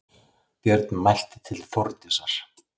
Björn mælti til Þórdísar